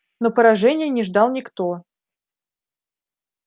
но поражения не ждал никто